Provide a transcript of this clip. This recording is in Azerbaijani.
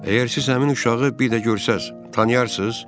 Əgər siz həmin uşağı bir də görsəz, tanıyarsız?